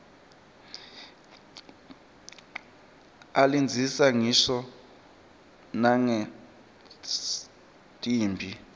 ilandzisa ngisho nangetimphi